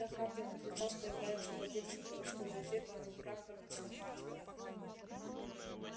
когда хардин отрицал что является владельцем городской газеты он был прав только с формальной стороны